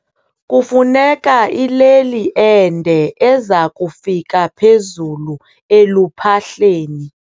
Kufuneka ileli ende eza kufika phezulu eluphahleni.